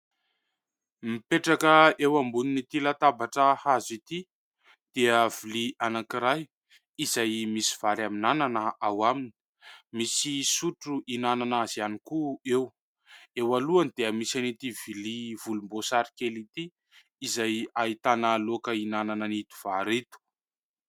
Mipetraka eo ambonin'ity latabatra hazo ity : dia vilia anankiray, izay misy vary amin'ny anana ao aminy, misy sotro hihinanana azy ihany koa eo, eo alohany dia misy an'ity vilia volomboasary kely ity izay ahitana laoka hihinanana an'ito vary ito.